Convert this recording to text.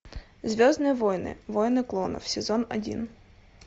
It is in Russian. звездные войны войны клонов сезон один